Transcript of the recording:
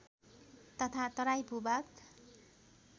तथा तराई भूभाग